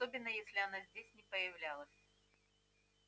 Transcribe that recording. особенно если она здесь не появлялась